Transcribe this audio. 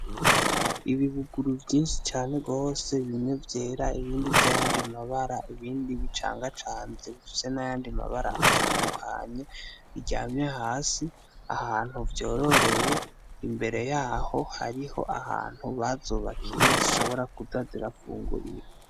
Ibibuguru vyinshi cane gose, bimwe vyera ibindi vy'ayandi mabara, ibindi bicangacanze bifise n'ayandi mabara atandukanye, biryamye hasi, ahantu vyororewe, imbere yaho hariho ahantu bazubakiye zishobora kuza zirafungurira.